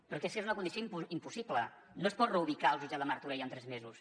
però és que és una condició impossible no es pot reubicar el jutjat de martorell en tres mesos